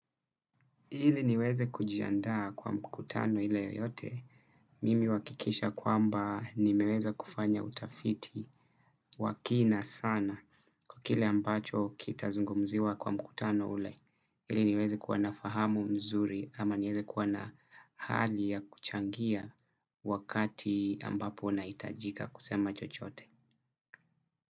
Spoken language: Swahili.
Ili niweze kujiandaa kwa mkutano ile yoyote, mimi huakikisha kwamba nimeweza kufanya utafiti wakina sana kwa kile ambacho kita zungumziwa kwa mkutano ule. Ili niweze kuwa nafahamu mzuri ama niweze kuwa na hali ya kuchangia wakati ambapo na itajika kusema chochote.